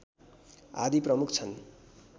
आदि प्रमुख छन्